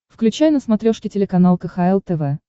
включай на смотрешке телеканал кхл тв